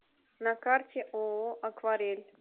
на карте ооо акварель